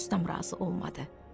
Ustam razı olmadı.